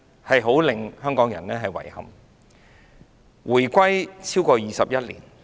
香港現已回歸超過21年。